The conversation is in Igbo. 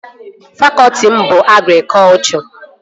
Fakọtị m bụ agrikọchọ